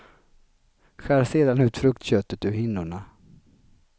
Skär sedan ut fruktköttet ur hinnorna.